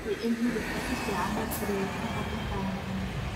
Hubi in hilibka si fiican loo kariyey ka hor intaadan cunin.